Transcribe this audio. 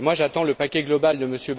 Moi, j'attends le paquet global de M.